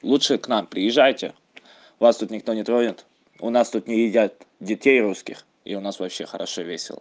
лучше к нам приезжайте вас тут никто не тронет у нас тут не едят детей русских и у нас вообще хорошо весело